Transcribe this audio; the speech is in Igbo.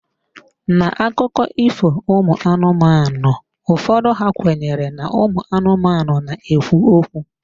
N'akụkọ ifo anụmanụ ụfọdụ, a kwenyere na ụmụ anụmanụ na-ekwu okwu.